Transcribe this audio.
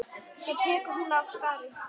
Svo tekur hún af skarið.